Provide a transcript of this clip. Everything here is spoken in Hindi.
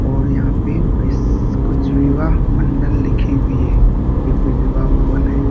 और यहाँ पे विश कुछ विवाह मंडल लिखी हुई है। ये कोई विवाह भवन है।